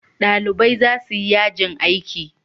Ɗalibai za su yi yajin aiki.